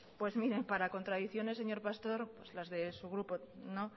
pues mire para contracciones señor pastor pues las de su grupo no